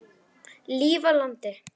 Líf á landi.